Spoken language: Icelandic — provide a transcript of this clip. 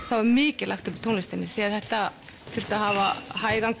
það var mikið lagt upp úr tónlistinni því þetta þurfti að hafa hægan